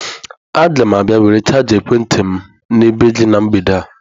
Agam abia were chaja ekwenti m n'ebe gi na mgbede a.